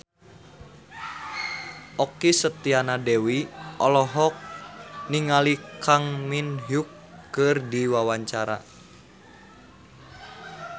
Okky Setiana Dewi olohok ningali Kang Min Hyuk keur diwawancara